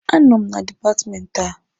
A nọ m na dipatmenti a.